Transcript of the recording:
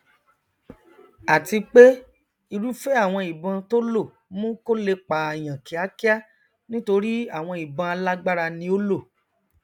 àti pé irúfẹ àwọn ìbọn tó lò mú kó lè pààyàn kíákíá nítorí àwọn ìbọn alágbára ni ó lò